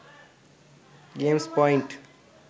gamers point